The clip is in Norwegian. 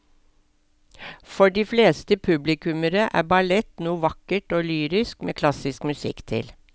For de fleste publikummere er ballett noe vakkert og lyrisk med klassisk musikk til.